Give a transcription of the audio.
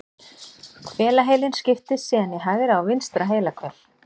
Hvelaheilinn skiptist síðan í hægra og vinstra heilahvel.